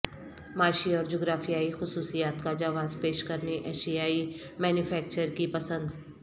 معاشی اور جغرافیائی خصوصیات کا جواز پیش کرنے ایشیائی مینوفیکچرر کی پسند